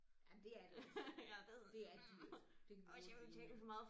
Jamen det er det også det er dyrt det kan vi hurtigt blive enige om